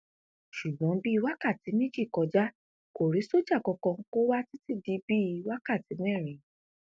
ṣùgbọn bíi wákàtí méjì kọjá kó rí sójà kankan kó wà títí di bíi wákàtí mẹrin